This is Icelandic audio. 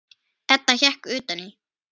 Edda hékk utan í.